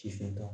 Ci fɛn ta